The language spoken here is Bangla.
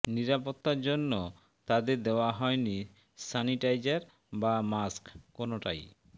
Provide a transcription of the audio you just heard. নিরাপত্তার জন্য় তাঁদের দেওয়া হয়নি স্য়ানিটাইজার বা মাস্ক কোনওটাই